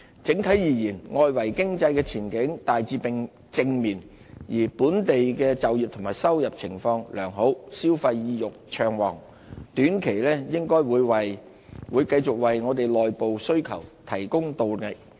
整體而言，外圍經濟的前景大致正面，而本地就業及收入情況良好，消費意欲暢旺，短期應該會繼續為內部需求提供動力。